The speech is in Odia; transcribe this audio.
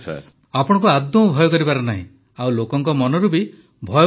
ପ୍ରଧାନମନ୍ତ୍ରୀ ଆପଣଙ୍କୁ ଆଦୌ ଭୟ କରିବାର ନାହିଁ ଆଉ ଲୋକଙ୍କ ମନରୁ ବି ଭୟକୁ ଆପଣ ବାହାର କରାନ୍ତୁ